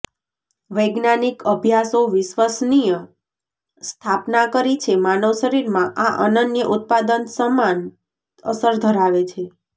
વૈજ્ઞાનિક અભ્યાસો વિશ્વસનીય સ્થાપના કરી છે માનવ શરીરમાં આ અનન્ય ઉત્પાદન સમાન અસર ધરાવે છે